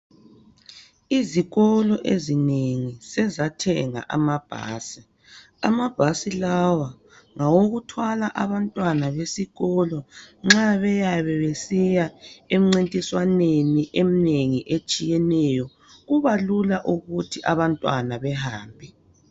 Izikolo ezinengi sezathenga amabhasi amabhasi lawa ngawokuthwala abantwana besikolo nxa beyabe besiya emncintiswaneni eminengi etshiyeneyo kuba lula ukuthi abantwana behambe.